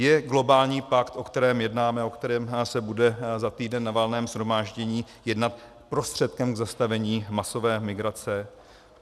Je globální pakt, o kterém jednáme, o kterém se bude za týden na Valném shromáždění jednat, prostředkem k zastavení masové migrace?